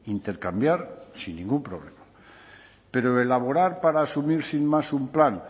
intercambiar sin ningún problema pero elaborar para asumir sin más un plan